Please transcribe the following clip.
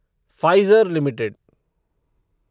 Pfizer limited